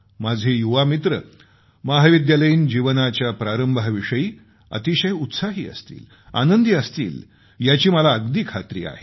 माझे युवामित्र महाविद्यालयीन जीवनाच्या प्रारंभाविषयी अतिशय उत्साही असतील आनंदी असतील याची मला अगदी खात्री आहे